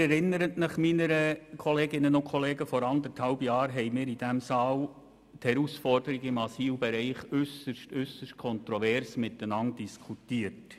Wir haben vor anderthalb Jahren in diesem Saal die Herausforderungen im Asylbereich äusserst kontrovers diskutiert.